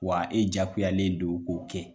Wa e jakuyalen don k'o kɛ